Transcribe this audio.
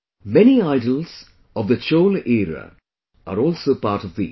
Many idols of the Chola era are also part of these